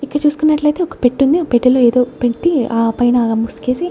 ఇక్కడ చూసుకున్నట్లయితే ఒక పెట్టుంది ఆ పెట్టెలో ఏదో పెట్టి ఆ పైన ముసుగేసి--